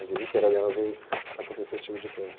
A vida inteira dela veio a acontecer esse tipo de coisa.